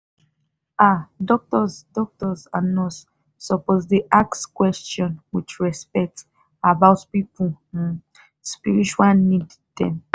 ah doctors doctors and nurse suppose dey ask quetion with respect about people um spiritual need dem.